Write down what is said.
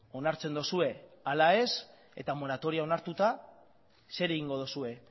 onartzen duzue ala ez eta moratorioa onartuta zer egingo duzue